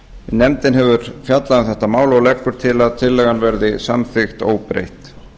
nefndin hefur fjallað um þetta mál og leggur til að tillagan veri samþykkt óbreytt